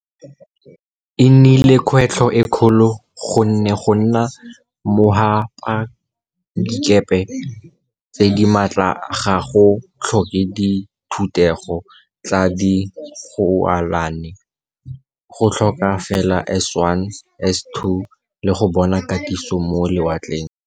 E nnile kgwetlho e kgolo gonne go nna mogapadikepe tse di maatla ga go tlhoke dithutego tsa dialogane, go tlhokega fela S1, S2 le go bona katiso mo lewatleng.